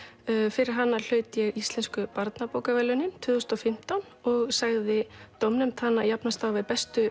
fyrir hana hlaut ég Íslensku barnabókaverðlaunin tvö þúsund og fimmtán og sagði dómnefnd hana jafnast á við bestu